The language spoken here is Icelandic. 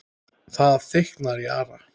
Það þykknar í Ara